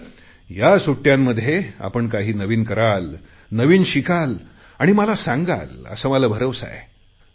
तर या सुट्टयांमध्ये आपण काही नवीन कराल नवीन शिकल आणि मला सांगाल असा मला भरवसा आहे